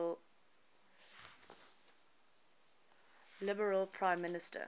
liberal prime minister